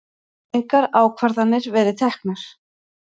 Engar ákvarðanir verið teknar